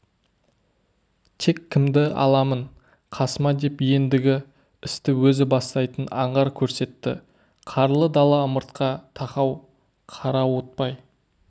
тек кімді аламын қасыма деп ендігі істі өзі бастайтын аңғар көрсетті қарлы дала ымыртқа тақау қарауытпай